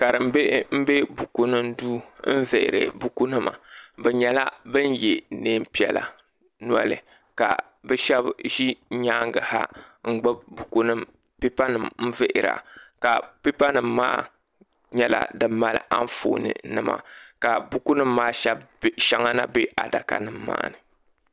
Karim bihi n be bukunima duu n vihiri bukunima bɛ nyɛla bin ye niɛnpiɛla noli ka bɛ sheba ʒi nyaanga ha n gbibi buku nima pipa nima n vihira ka pipa nima maa nyɛla di mali anfooni nima ka buku nima maa sheŋa na be adaka nima maa ni.